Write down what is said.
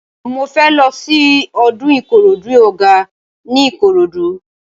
Mo fẹ́ lọ sí ọdún Ìkòròdú Ọ̀gá ní Ìkòròdú.